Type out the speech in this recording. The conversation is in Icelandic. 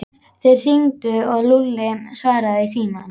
Þeir hringdu og Lúlli svaraði í símann.